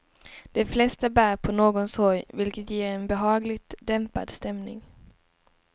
De flesta bär på någon sorg, vilket ger en behagligt dämpad stämning.